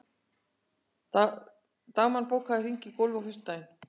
Dagmann, bókaðu hring í golf á föstudaginn.